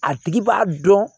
A tigi b'a dɔn